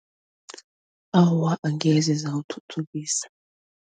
Awa angeze zawuthuthukisa.